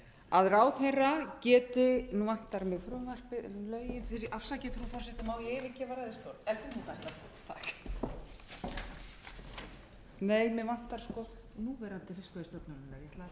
að ráðherra geti nú vantar mig frumvarpið lögin afsakið frú forseti má ég yfirgefa ræðustól er það þarna takk nei mig vantar núverandi fiskveiðistjórnarlög má ég yfirgefa ræðustól hálfa sekúndu við